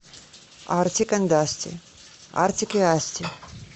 артик энд асти артик и асти